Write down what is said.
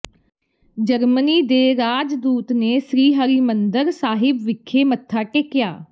Germany ਦੇ ਰਾਜਦੂਤ ਨੇ ਸ੍ਰੀ ਹਰਿਮੰਦਰ ਸਾਹਿਬ ਵਿਖੇ ਮੱਥਾ ਟੇਕਿਆ